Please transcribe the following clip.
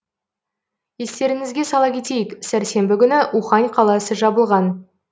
естеріңізге сала кетейік сәрсенбі күні ухань қаласы жабылған